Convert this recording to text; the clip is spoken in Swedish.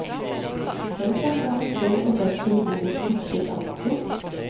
Själv tar han fram en stol och sätter sig vid bordets kortsida. punkt